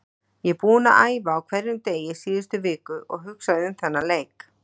Ég er búinn að æfa á hverjum degi síðustu viku og hugsað um þennan leik.